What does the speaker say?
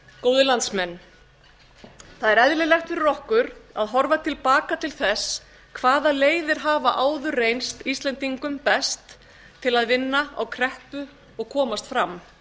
góðir landsmenn það er eðlilegt fyrir okkur að horfa til baka til þess hvaða leiðir hafa áður reynst íslendingum best til að vinna á kreppu og komast fram